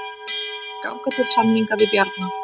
Ganga til samninga við Bjarna